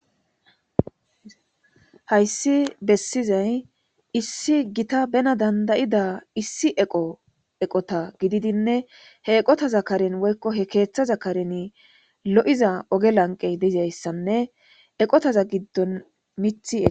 hayssi bessizay issi gita bena dandayida issi eqo eqota gididinne he eqota za karen woykko he keeththa za karen lo7iza oge lanqe deizayssanne eqotaza giddon mith eo